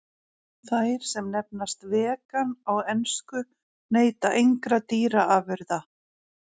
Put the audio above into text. Þær sem nefnast vegan á ensku neyta engra dýraafurða.